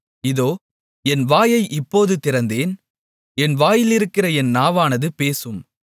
இதோ என் வாயை இப்போது திறந்தேன் என் வாயிலிருக்கிற என் நாவானது பேசும்